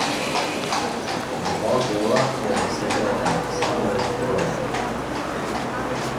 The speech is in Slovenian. Dva gola je dosegel tudi Aleksander Frolov.